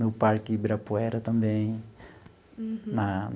No parque Ibirapuera também. Uhum. Na...